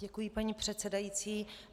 Děkuji, paní předsedající.